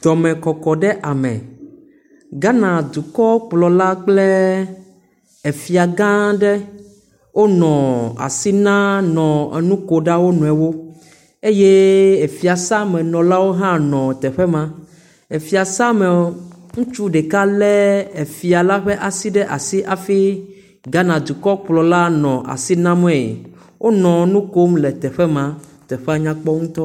Dɔmekɔkɔ ɖe ame. Ghana dukɔkplɔ la kple efia gã aɖe. Wonɔ asi na nɔ nuko na wonɔewo eye efiasamenɔlawo ha nɔ teƒe ma. efiasame ŋutsu ɖeka le efia la ƒe asi ɖe asi hafi Ghana dukɔ kplɔ la le asi name. Wonɔ nu kom le teƒe maa. Teƒe nyakpɔ ŋutɔ.